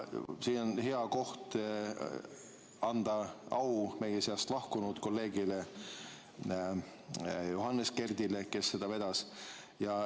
Siin on hea koht anda au meie seast lahkunud kolleegile Johannes Kerdile, kes seda vedas.